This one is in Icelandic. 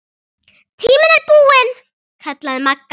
Tíminn er búinn kallaði Magga.